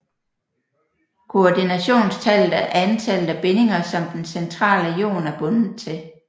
Koordinationstallet er antallet af bindinger som den centrale ion er bundet til